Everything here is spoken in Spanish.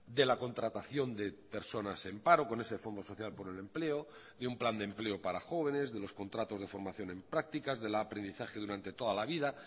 de la contratación de personas en paro con ese fondo social por el empleo de un plan de empleo para jóvenes de los contratos de formación en prácticas del aprendizaje durante toda la vida